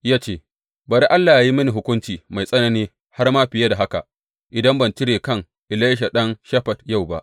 Ya ce, Bari Allah yă yi mini hukunci mai tsanani har ma fiye da haka, idan ban cire kan Elisha ɗan Shafat yau ba!